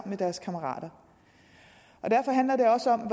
med deres kammerater derfor handler det også om